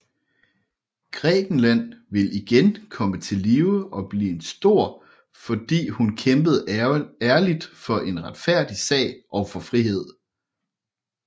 Grækenland vil igen komme til live og blive stor fordi hun kæmpede ærligt for en retfærdig sag og for frihed